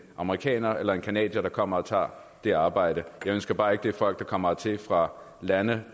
amerikaner eller en canadier der kommer og tager det arbejde jeg ønsker bare ikke at det er folk der kommer hertil fra lande